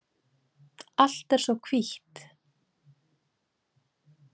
Allt er svo hvítt.